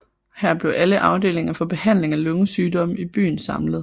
Her blev alle afdelinger for behandling af lungesygdomme i byen samlet